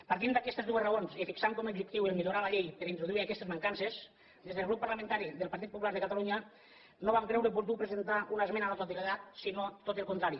partint d’aquestes dues raons i fixant com objectiu millorar la llei per introduir aquestes mancances des del grup parlamentari del partit popular de catalunya no vam creure oportú presentar una esmena a la totalitat sinó tot el contrari